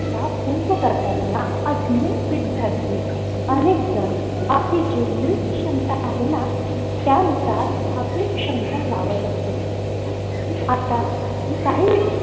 या पूर्ण प्रकरणात अनेक विद्यार्थी अनेकजण आपली क्षमता पाहायला त्यानुसार आपली क्षमता लावत असतो. आता काही